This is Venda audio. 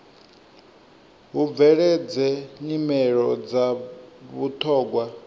hu bveledze nyimelo dza vhuthogwa